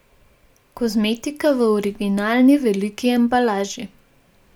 Kozmetika v originalni veliki embalaži.